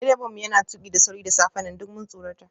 Direban mu yana tuki da sauri da safen nan, duk mun tsorata.